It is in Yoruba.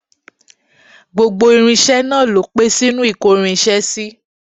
Gbogbo irinṣẹ́ náà ló pé sínú ìkórinṣẹ́ sí